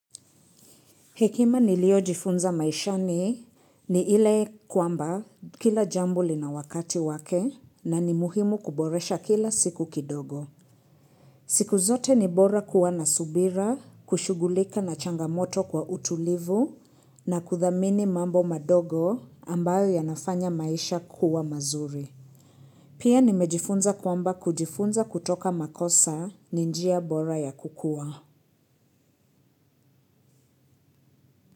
Hekima niliojifunza maishani ni ile kwamba kila jambo lina wakati wake na ni muhimu kuboresha kila siku kidogo. Siku zote ni bora kuwa na subira, kushughulika na changamoto kwa utulivu na kuthamini mambo madogo ambayo yanafanya maisha kuwa mazuri. Pia nimejifunza kwamba kujifunza kutoka makosa ni njia bora ya kukua.